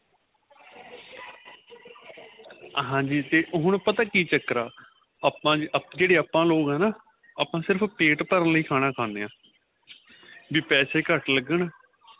ਹਾਂਜੀ ਹੁਣ ਪਤਾ ਕਿ ਚੱਕਰ ਆਂ ਆਪਾਂ ਜਿਹੜੇ ਆਪਾਂ ਲੋਕ ਆਂ ਨਾ ਆਪਾਂ ਸਿਰਫ਼ ਪੇਟ ਭਰਨ ਲਈ ਖਾਣਾ ਖਾਦੇ ਹਾਂ ਵੀ ਪੈਸੇ ਘੱਟ ਲੱਗਣ